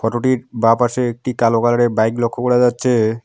Photo -টির বাঁ পাশে একটি কালো কালার -এর বাইক লক্ষ্য করা যাচ্ছে-এ।